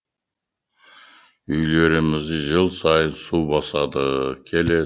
үйлерімізді жыл сайын су басады